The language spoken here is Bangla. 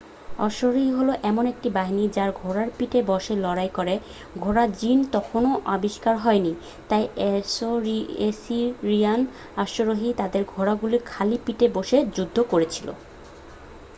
অশ্বারোহী হলো এমন একটি বাহিনী যারা ঘোড়ার পিঠে বসে লড়াই করে ঘোড়ার জিন তখনও আবিষ্কার হয়নি তাই অ্যাসিরিয়ান অশ্বারোহীরা তাদের ঘোড়াগুলির খালি পিঠে বসে যুদ্ধ করেছিল